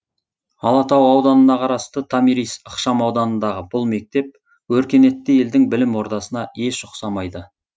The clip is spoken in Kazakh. алатау ауданына қарасты томирис ықшамауданындағы бұл мектеп өркениетті елдің білім ордасына еш ұқсамайды